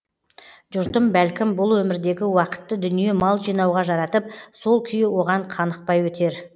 жұртым бәлкім бұл өмірдегі уақытты дүние мал жинауға жаратып сол күйі оған қанықпай өтер